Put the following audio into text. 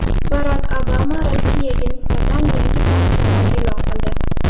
Barak Obama Rossiyaga nisbatan yangi sanksiyalar e’lon qildi.